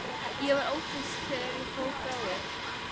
Ég var ófrísk þegar ég fór frá þér.